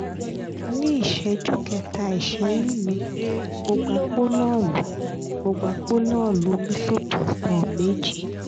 ní ìṣẹ́jú kẹta ìṣẹ́yún mi mo gba pólọ́ọ̀lù mo gba pólọ́ọ̀lù misoprostol méjì